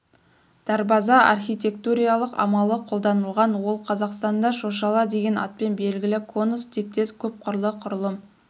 дарбаза архитектуриялық амалы қолданылған ол қазақстанда шошала деген атпен белгілі конус тектес көп қырлы құрылым